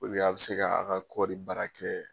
U bɛ a be se ka a' ka kɔri baara kɛ